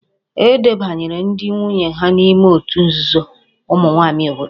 E debanyere ndị nwunye ha n'ime òtù nzuzo ụmụ nwaanyị obodo